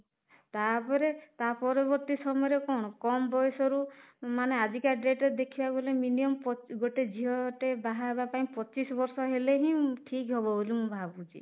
ତାପରେ ତା ପରବର୍ତ୍ତୀ ସମୟରେ କଣ କମ ବୟସରୁ ମାନେ ଆଜି କା date ରେ ଦେଖିବାକୁ ଗଲେ minimum ଗୋଟେ ଝିଅ ଟେ ବାହା ହେବା ପାଇଁ ପଚିଶ ବର୍ଷ ହେଲେ ହିଁ ଠିକ ହବ ବୋଲି ମୁଁ ଭାବୁଛି